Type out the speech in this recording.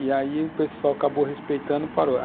E aí o pessoal acabou respeitando e parou.